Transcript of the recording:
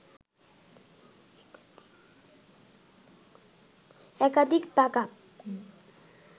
একাধিক ব্যাকআপ